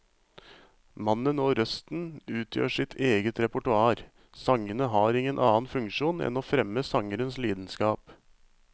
Mannen og røsten utgjør sitt eget repertoar, sangene har ingen annen funksjon enn å fremme sangerens lidenskap.